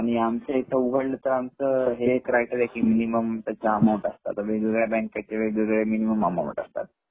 आणि आमच्या इथे उघडल तर आमच हे क्रायटेरीया कि मिनिमम त्याच्या अमाउंट असतात आता वेगवेगळ्या बँकेचे वेगवेगळे अमाउंट असतात